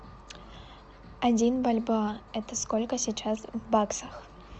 один бальбоа это сколько сейчас в баксах